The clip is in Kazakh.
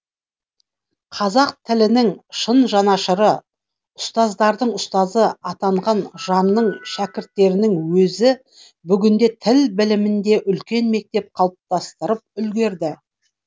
қазақ тілінің шын жанашыры ұстаздардың ұстазы атанған жанның шәкірттерінің өзі бүгінде тіл білімінде үлкен мектеп қалыптастырып үлгерді